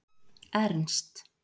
Ernst